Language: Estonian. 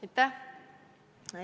Aitäh!